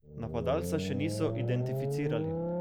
Napadalca še niso identificirali.